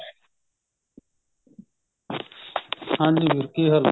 ਹਾਂਜੀ ਵੀਰ ਕੀ ਹਾਲ ਹੈ